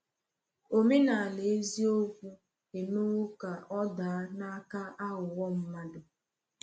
Omenala eziokwu emewo ka ọ daa n’aka aghụghọ mmadụ.